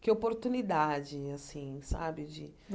Que oportunidade, assim, sabe de?